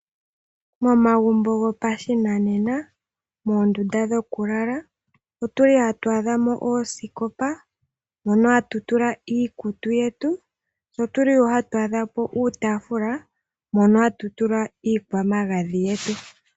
Momagumbo gopashinanena moondunda dhoku lala otuli hatu adha mo oosikopa mono hatu tula iikutu yetu, otuli wo hatu adha mo iitaafula mono hatu tula iikwamagadhi yetu.